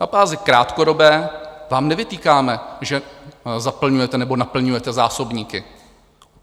Na bázi krátkodobé vám nevytýkáme, že zaplňujete nebo naplňujete zásobníky.